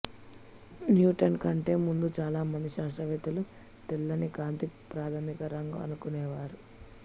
Newton కంటే ముందు చాలా మంది శాస్త్రవేత్తలు తెల్లని కాంతి ప్రాథమిక రంగు అనుకొనేవారు